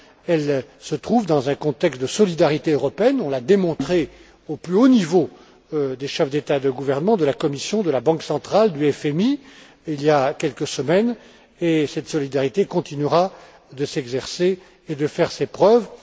Elle se trouve dans un contexte de solidarité européenne, on l'a démontré au plus haut niveau des chefs d'État et de gouvernement, de la Commission, de la Banque centrale, du FMI, il y a quelques semaines, et cette solidarité continuera de s'exercer et de faire ses preuves.